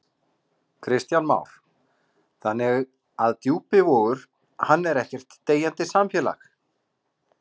Kristján Már: Þannig að Djúpivogur, hann er ekkert deyjandi samfélag?